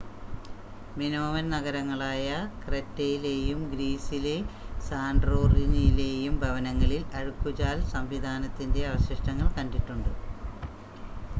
Minoan നഗരങ്ങളായ ക്രെറ്റെയിലെയും ഗ്രീസിലെ സാൻ്റോറിനിയിലെയും ഭവനങ്ങളിൽ അഴുക്കുചാൽ സംവിധാനത്തിൻ്റെ അവശിഷ്ടങ്ങൾ കണ്ടിട്ടുണ്ട്